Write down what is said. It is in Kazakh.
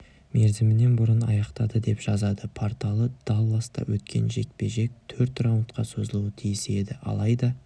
мерзімінен бұрын аяқтады деп жазады порталы далласта өткен жекпе-жек төрт раундқа созылуы тиіс еді алайда